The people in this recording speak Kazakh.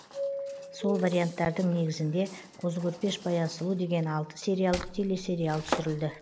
сол варианттардың негізінде қозы көрпеш баян сұлу деген алты сериялық телесериал түсірілді